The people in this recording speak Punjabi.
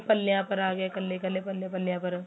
ਤੇ ਪੱਲਿਆ ਪਰ ਆਂ ਗਿਆ ਕੱਲੇ ਕੱਲੇ ਪੱਲਿਆ ਪੱਲਿਆ ਪਰ